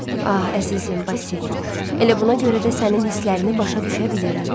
Ah, əzizim Basil, elə buna görə də sənin hisslərini başa düşə bilirəm.